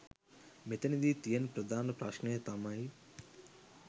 මෙතැනදි තියෙන ප්‍රධාන ප්‍රශ්නය තමයි